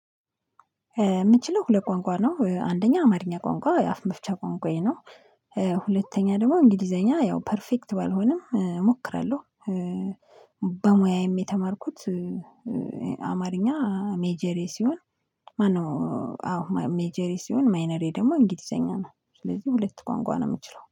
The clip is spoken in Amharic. የምችለው ሁለት ቋንቋ ነው አንደኛ አማርኛ ቋንቋ የአፍ መፍቻ ቋንቋዬ ነው። ሁለተኛ ደግሞ እንግሊዘኛ ያው ፐርፌክት ባልሆንም እሞክራለሁ። በሙያዬ የተማርኩት አማርኛ ሜጀሬ ሲሆን። ማነው? አዎ ሜጀሬ ሲሆን ማይነሬ ደግሞ እንግሊዘኛ ነው። ስለዚህ ሁለት ቋንቋ ነው የምችለው